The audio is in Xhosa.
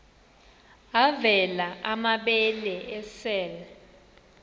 avela amabele esel